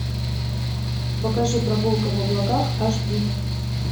покажи прогулка в облаках аш ди